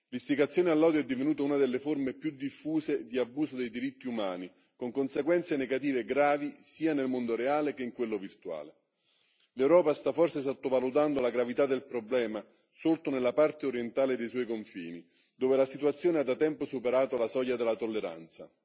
L'istigazione all'odio è divenuta una delle forme più diffuse di abusi dei diritti umani, con conseguenze negative gravi, sia nel mondo reale sia in quello virtuale. L'Europa sta forse sottovalutando la gravità del problema sorto nella parte orientale dei suoi confini, dove la situazione ha da tempo superato la soglia della tolleranza.